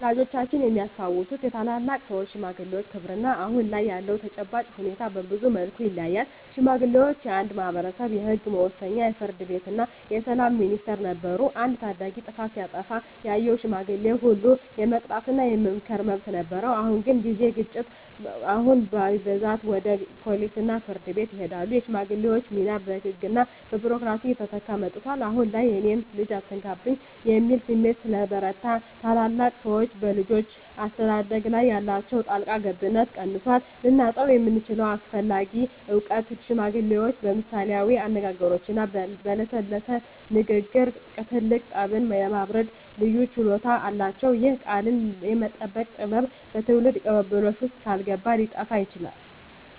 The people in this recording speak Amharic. ወላጆቻችን የሚያስታውሱት የታላላቅ ሰዎች (ሽማግሌዎች) ክብርና አሁን ላይ ያለው ተጨባጭ ሁኔታ በብዙ መልኩ ይለያያል። ሽማግሌዎች የአንድ ማኅበረሰብ የሕግ መወሰኛ፣ የፍርድ ቤትና የሰላም ሚኒስቴር ነበሩ። አንድ ታዳጊ ጥፋት ሲያጠፋ ያየው ሽማግሌ ሁሉ የመቅጣትና የመምከር መብት ነበረው። በአሁን ጊዜ ግን ግጭቶች አሁን በብዛት ወደ ፖሊስና ፍርድ ቤት ይሄዳሉ። የሽማግሌዎች ሚና በሕግና በቢሮክራሲ እየተተካ መጥቷል። አሁን ላይ "የእኔን ልጅ አትነካብኝ" የሚል ስሜት ስለበረታ፣ ታላላቅ ሰዎች በልጆች አስተዳደግ ላይ ያላቸው ጣልቃ ገብነት ቀንሷል። ልናጣው የምንችለው አስፈላጊ እውቀት ሽማግሌዎች በምሳሌያዊ አነጋገሮችና በለሰለሰ ንግግር ትልቅ ጠብን የማብረድ ልዩ ችሎታ አላቸው። ይህ "ቃልን የመጠቀም ጥበብ" በትውልድ ቅብብሎሽ ውስጥ ካልገባ ሊጠፋ ይችላል።